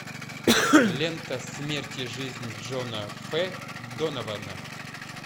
лента смерть и жизнь джона ф донована